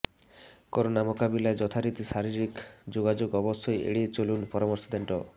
corona মোকাবিলায় যথারীতি শারীরিক যোগাযোগ অবশ্যই এড়িয়ে চলার পরামর্শ দেন ড